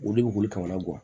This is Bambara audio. Olu bɛ wuli ka o lagɔ